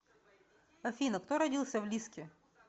афина кто родился в лиски